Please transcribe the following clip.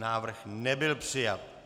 Návrh nebyl přijat.